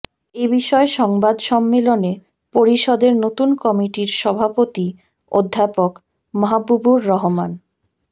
এ বিষয়ে সংবাদ সম্মেলনে পরিষদের নতুন কমিটির সভাপতি অধ্যাপক মাহবুবুর রহমান